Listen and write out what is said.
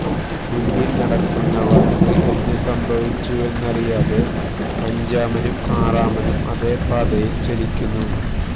മുന്നിൽ നടക്കുന്നവർക്ക് എന്തു സംഭവിച്ചുവെന്നറിയാതെ അഞ്ചാമനും ആറാമനും അതേ പാതയിൽ ചലിക്കുന്നു